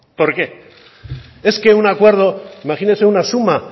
es un acuerdo imagínese una suma